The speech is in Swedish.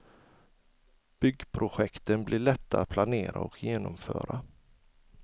Byggprojekten blir lätta att planera och genomföra.